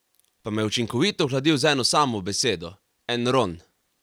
Pa me je učinkovito ohladil z eno samo besedo: "Enron".